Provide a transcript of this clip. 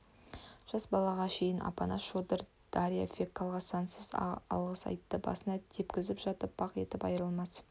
жас балаға шейін апанас шодыр дарья феклаға сансыз алғыс айтты басына тепкізіп жатып бақ етіп айрылмас